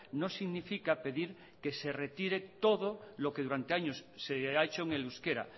no significa pedir que se retire todo lo que durante años se ha hecho en el euskera